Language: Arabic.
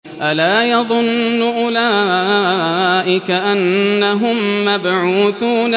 أَلَا يَظُنُّ أُولَٰئِكَ أَنَّهُم مَّبْعُوثُونَ